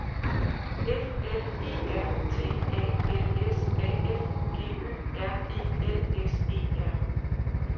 F L E R T A L S A F G Ø R E L S E R